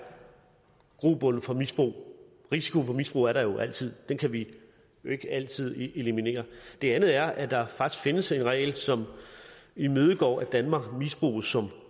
grobund for misbrug risikoen for misbrug er der jo altid den kan vi jo ikke altid eliminere det andet er at der faktisk findes en regel som imødegår at danmark misbruges som